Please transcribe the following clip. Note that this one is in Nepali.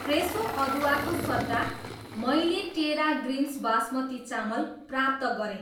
फ्रेसो अदुवा को सट्टा, मैले टेरा ग्रिन्स बास्मती चामल प्राप्त गरेँ।